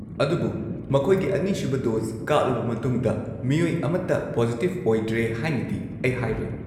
ꯑꯗꯨꯕꯨ ꯃꯈꯣꯏꯒꯤ ꯑꯅꯤꯁꯨꯕ ꯗꯣꯁ ꯀꯥꯞꯂꯕ ꯃꯇꯨꯡꯗ ꯃꯤꯑꯣꯏ ꯑꯃꯠꯇ ꯄꯣꯖꯤꯇꯤꯕ ꯑꯣꯏꯗ꯭ꯔꯦ ꯍꯥꯏꯅꯗꯤ ꯑꯩ ꯍꯥꯏꯔꯣꯏ꯫